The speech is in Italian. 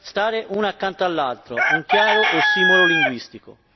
stare una accanto all'altra, un chiaro ossimoro linguistico.